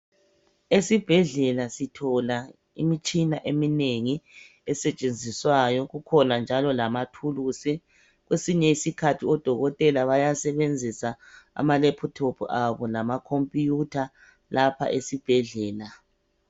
Esibhedlela sithola imitshina eminengi esetshenziswayo kukhona njalo lamathuluzi kwesinye isikhathi odokotela bayasebenzisa amalephuthophu abo lamakhompuyutha lapha esibhedlela.